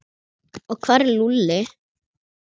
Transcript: Og hvar er Lúlli?